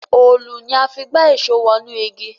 Òòlù ní a fí gbà Èṣó wọnú ìgi.